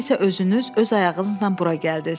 Siz isə özünüz öz ayağınızla bura gəldiz.